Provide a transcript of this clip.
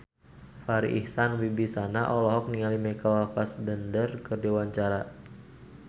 Farri Icksan Wibisana olohok ningali Michael Fassbender keur diwawancara